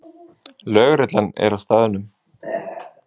Lögreglan er á staðnum